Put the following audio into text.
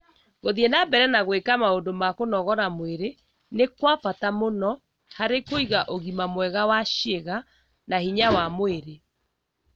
Gũthiĩ na mbere na gwĩka maũndũ ma kũnogora mwĩrĩ nĩ kwa bata mũno harĩ kũiga ũgima mwega wa ciĩga na hinya wa mwĩrĩ.